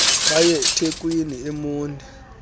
bay ethekwini emonti